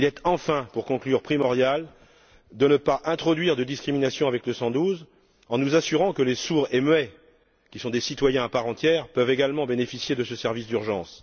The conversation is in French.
Enfin, pour conclure, il est primordial de ne pas introduire de discriminations avec le 112 en nous assurant que les sourds et muets, qui sont des citoyens à part entière, puissent également bénéficier de ce service d'urgence.